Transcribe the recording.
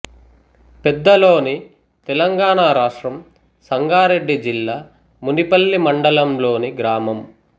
పెద్దలోని తెలంగాణ రాష్ట్రం సంగారెడ్డి జిల్లా మునిపల్లి మండలంలోని గ్రామం